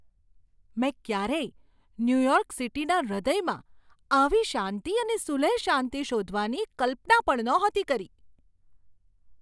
મેં ક્યારેય ન્યુયોર્ક સિટીના હૃદયમાં આવી શાંતિ અને સુલેહ શાંતિ શોધવાની કલ્પના પણ નહોતી કરી!